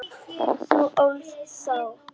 Þú ólst þá.